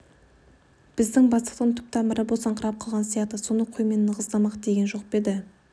біздің бастықтың түп тамыры босаңқырап қалған сияқты соны қоймен нығыздамақ деген жоқ па еді